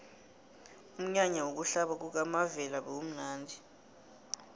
umnyanya wokuhlaba kukamavela bewumnadi